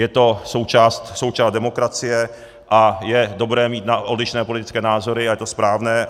Je to součást demokracie a je dobré mít odlišné politické názory a je to správné.